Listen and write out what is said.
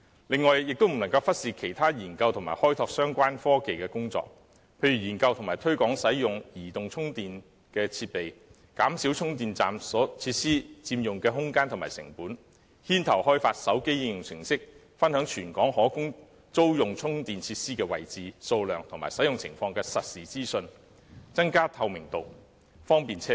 另外，也不能忽視其他研究及開拓相關科技的工作，例如研究及推廣使用移動充電的設備，減少充電設施所佔用的空間和成本，牽頭開發手機應用程式，分享全港可供租用充電設施的位置、數量和使用情況的實時資訊，增加透明度，方便車主。